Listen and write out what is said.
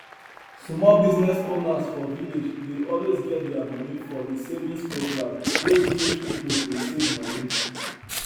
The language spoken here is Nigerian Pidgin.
small business owners for village dey always get their money for di savings program wey village pipo dey save money